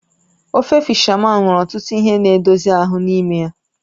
Ofe fishamán nwere ọtụtụ ihe na edozie ahụ n'ime ya.